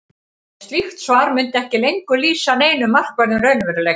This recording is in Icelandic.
en slíkt svar mundi ekki lengur lýsa neinum markverðum raunveruleika